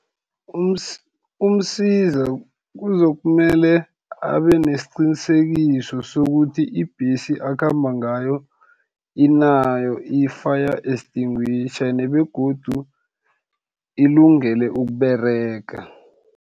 UMsiza kuzokumele, abe nesiqinisekiso sokuthi, ibhesi akhamba ngayo inayo i-fire extinguisher, begodu ilungele ukuberega.